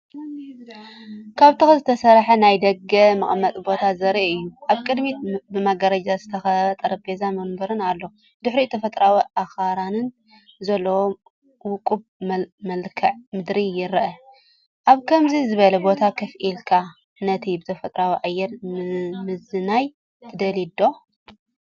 ካብ ተኽሊ ዝተሰርሐ ናይ ደገ መቐመጢ ቦታ ዘርኢ እዩ። ኣብ ቅድሚት ብመጋረጃ ዝተኸበበ ጠረጴዛን መንበርን ኣሎ፤ ድሕሪኡ ተፈጥሮኣዊ ኣኽራንን ዘለዎ ውቁብ መልክዓ ምድሪ ይርአ። ኣብ ከምዚ ዝበለ ቦታ ኮፍ ኢልካ ነቲ ብተፈጥሮኣዊ ኣየር ምዝንናይ ትደልዩ ዶ?